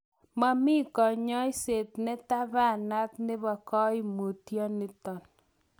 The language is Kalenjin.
Momi konyoiset netapanat nebo koimutioniton.